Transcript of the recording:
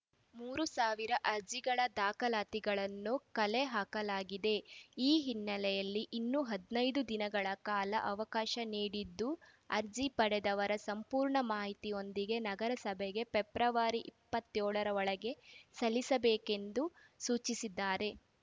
ಮೂರು ಸಾವಿರ ಅರ್ಜಿಗಳ ದಾಖಲಾತಿಗಳನ್ನು ಕಲೆಹಾಕಲಾಗಿದೆ ಈ ಹಿನ್ನೆಲೆಯಲ್ಲಿ ಇನ್ನೂ ಹದಿನೈದು ದಿನಗಳ ಕಾಲ ಅವಕಾಶ ನೀಡಿದ್ದು ಅರ್ಜಿ ಪಡೆದವರು ಸಂಪೂರ್ಣ ಮಾಹಿತಿಯೊಂದಿಗೆ ನಗರಸಭೆಗೆ ಫೆಬ್ರವರಿ ಇಪ್ಪತ್ತ್ಯೋಳ ರೊಳಗೆ ಸಲ್ಲಿಸಬೇಕೆಂದು ಸೂಚಿಸಿದ್ದಾರೆ